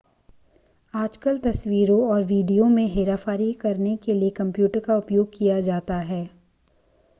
आजकल तस्वीरों और वीडियो में हेराफेरी करने के लिए कंप्यूटर का उपयोग किया जाता है